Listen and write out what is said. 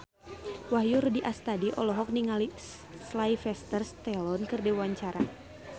Wahyu Rudi Astadi olohok ningali Sylvester Stallone keur diwawancara